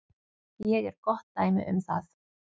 Ég er gott dæmi um það.